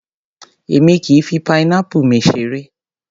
Èmi kìí fi pineapple mi seré.